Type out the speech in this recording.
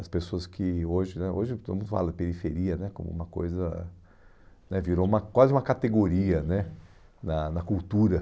As pessoas que hoje né... Hoje todo mundo fala de periferia né como uma coisa... né virou uma quase uma categoria né na na cultura.